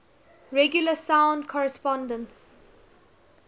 regular sound correspondences